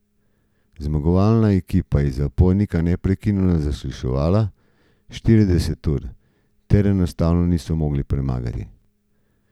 Zmagovalna ekipa je zapornika neprekinjeno zasliševala štirideset ur, teh enostavno niso mogli premagati.